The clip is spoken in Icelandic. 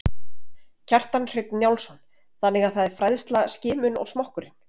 Kjartan Hreinn Njálsson: Þannig að það er fræðsla, skimun og smokkurinn?